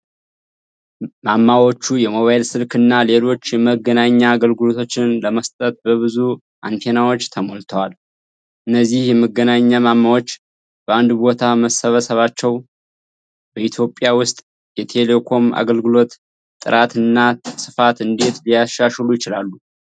ማማዎቹ የሞባይል ስልክ እና ሌሎች የመገናኛ አገልግሎቶችን ለመስጠት በብዙ አንቴናዎች ተሞልተዋል። እነዚህ የመገናኛ ማማዎች በአንድ ቦታ መሰባሰባቸው በኢትዮጵያ ውስጥ የቴሌኮም አገልግሎትን ጥራት እና ስፋት እንዴት ሊያሻሽሉ ይችላሉ?